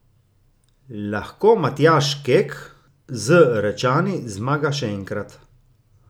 Lahko Matjaž Kek z Rečani zmaga še enkrat?